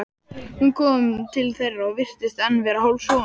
Hún kom til þeirra og virtist enn vera hálfsofandi.